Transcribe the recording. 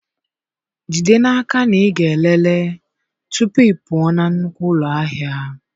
Jide n'aka na ị ga-elele tupu ị pụọ na nnukwu ụlọ ahịa.